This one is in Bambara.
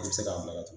I bɛ se k'a bila